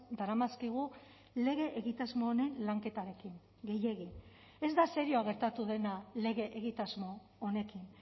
daramazkigu lege egitasmo honen lanketarekin gehiegi ez da serioa gertatu dena lege egitasmo honekin